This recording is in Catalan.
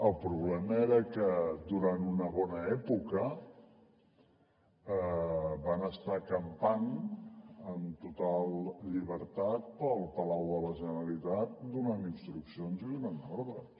el problema era que durant una bona època van estar campant amb total llibertat pel palau de la generalitat donant instruccions i donant ordres